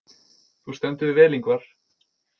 Þú stendur þig vel, Yngvar!